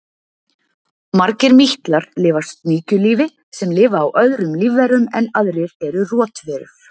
margir mítlar lifa sníkjulífi sem lifa á öðrum lífverum en aðrir eru rotverur